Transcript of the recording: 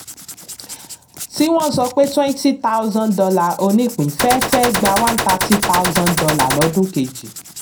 tí wọ́n sọ pé twenty thousand dollar onípín fẹ́ fẹ́ gba one thirtty thousand dollar lọdún kejì.